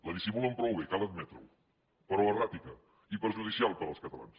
la dissimulen prou bé cal admetre ho però erràtica i perjudicial per als catalans